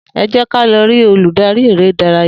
E jé ká lọ rí olùdarí eré ìdárayá